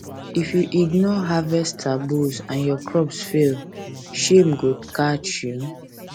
if you ignore harvest taboos and your crops fail shame go catch you